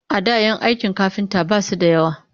A da kayan aikin kafinta ba su da yawa